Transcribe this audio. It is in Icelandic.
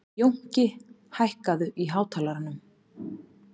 Jónki, hækkaðu í hátalaranum.